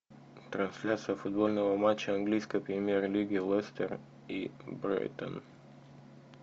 трансляция футбольного матча английской премьер лиги лестер и брайтон